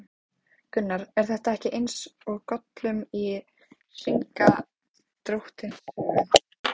Gunnar: Er þetta ekki eins og Gollum í Hringadróttinssögu?